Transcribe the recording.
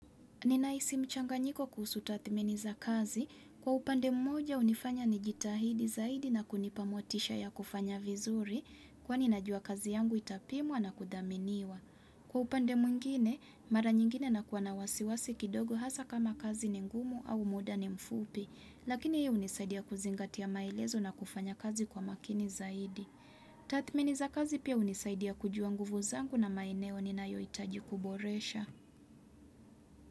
Ninahisi mchanganyiko kuhusu tathmini za kazi. Kwa upande mmoja unifanya ni jitahidi zaidi na kunipamotisha ya kufanya vizuri kwa ni najua kazi yangu itapimwa na kudhaminiwa. Kwa upande mwngine, mara nyingine nakuwa na wasiwasi kidogo hasa kama kazi ni ngumu au muda ni mfupi. Lakini hii hunisaidia kuzingatia maelezo na kufanya kazi kwa makini zaidi. Tathmini za kazi pia hunisaidia kujua nguvu zangu na maeneo ninayohitaji kuboresha.